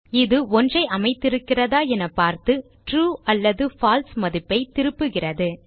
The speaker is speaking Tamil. இது ஒன்றை அமைத்திருக்கிறதா என பார்த்து ட்ரூ அல்லது பால்சே மதிப்பை திருப்புகிறது